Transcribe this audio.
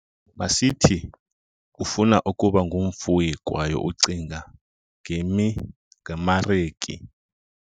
Masithi ufuna ukuba ngumfuyi kwaye ucinga ngemareki.